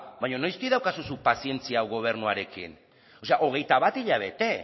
baina noiztik daukazu zuk pazientzia gobernuarekin o sea hogeita bat hilabete